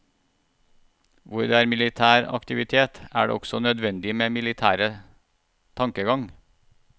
Hvor det er militær aktivitet, er det også nødvendig med militære tankegang.